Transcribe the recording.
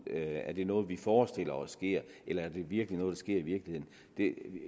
er det noget vi forestiller os sker eller er det virkelig noget der sker i virkeligheden